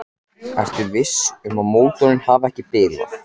Ertu viss um að mótorinn hafi ekki bilað?